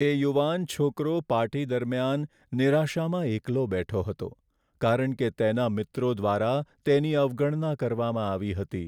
એ યુવાન છોકરો પાર્ટી દરમિયાન નિરાશામાં એકલો બેઠો હતો કારણ કે તેના મિત્રો દ્વારા તેની અવગણના કરવામાં આવી હતી.